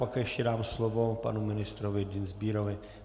Pak ještě dám slovo panu ministrovi Dienstbierovi.